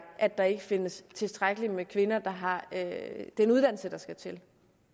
at der ikke findes tilstrækkeligt med kvinder der har den uddannelse der skal til